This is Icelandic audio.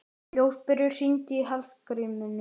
Ljósberi, hringdu í Hallgrímínu.